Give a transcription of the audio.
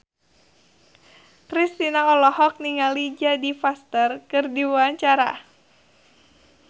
Kristina olohok ningali Jodie Foster keur diwawancara